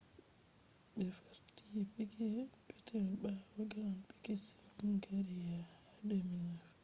ɓe farti piquet jr. peetel ɓaawo grand priks hungaria ha 2009